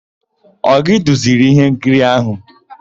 Ọ gị duziri íhénkiri áhụ̀?